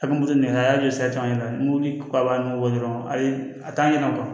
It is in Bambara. A bɛ moto minɛ a y'a jɔ sa n yɛrɛ mo k'a nugu dɔrɔn ayi a t'a ɲɛna